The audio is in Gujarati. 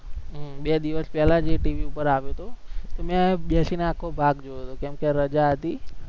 હમ બે દિવસ પહેલા જ એ TV પર આવ્યો હતો, મેં બેસીને આખો ભાગ જોયો તો કેમકે રજા હતી.